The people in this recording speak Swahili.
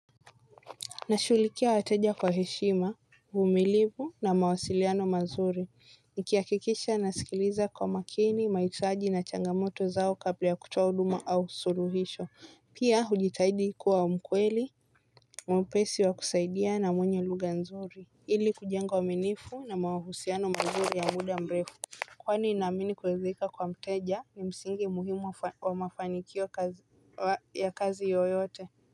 Nashughulikia wateja kwa heshima, uvumilivu na mawasiliano mazuri. Nikihakikisha nasikiliza kwa makini, mahitaji na changamoto zao kabla ya kutoa huduma au suluhisho. Pia hujitahidi kuwa mkweli, mwepesi wa kusaidia na mwenye lugha nzuri ili kujenga uaminifu na mahusiano mazuri ya muda mrefu kwani naamini kuridhika kwa mteja ni msingi muhimu wa mafanikio ya kazi yoyote.